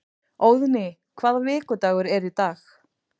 Óðný, hvaða vikudagur er í dag?